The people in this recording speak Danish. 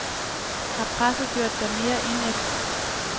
Har presset gjort dig mere indædt?